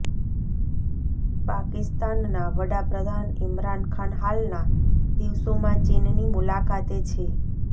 પાકિસ્તાનનાં વડા પ્રધાન ઇમરાન ખાન હાલના દિવસોમાં ચીનની મુલાકાતે છે